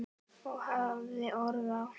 Og hafði orð á.